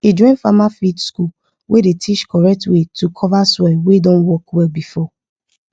e join farmer field school wey dey teach correct way to cover soil wey don work well before